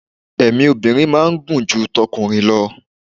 èmi obinrin ma n gun ju t'okunrin lọ